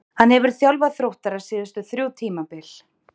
Hann hefur þjálfað Þróttara síðustu þrjú tímabil.